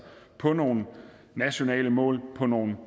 på nogle nationale mål på nogle